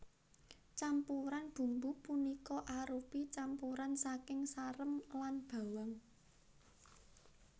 Campuran bumbu punika arupi campuran saking sarem lan bawang